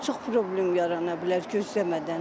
Çox problem yarana bilər gözləmədən.